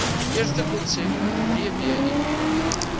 eerste konsep dbip